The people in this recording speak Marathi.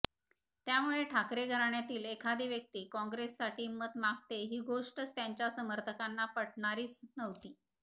त्यामुळे ठाकरे घराण्यातील एखादी व्यक्ती काँग्रेससाठी मतं मागते ही गोष्टच त्यांच्या समर्थकांना पटणारीच नव्हती